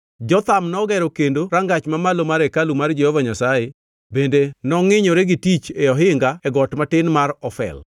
Jotham nogero kendo Rangach Mamalo mar hekalu mar Jehova Nyasaye bende nongʼinyore gi tich e ohinga e got matin mar Ofel.